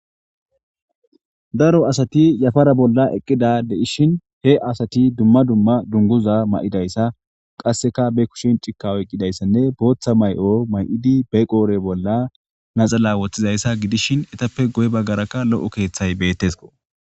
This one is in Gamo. daro asati yafara bolla eqqida de7ishin he asati dumma dumma dunguza ma7idayssa qasseka be kushin cikka oyqqidayssanne booththa may7o may7idi be qoore bolla naxala woththizayssa gidishin etappe goy baggarakka lo7o keeththay bettesko